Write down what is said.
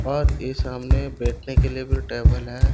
और ए सामने बैठने के लिए टेबल है।